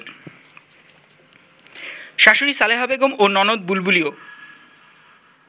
শাশুড়ি সালেহা বেগম ও ননদ বুলবুলিও